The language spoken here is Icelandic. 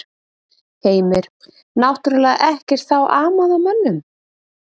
Heimir: Náttúrlega ekkert þá amað að mönnum?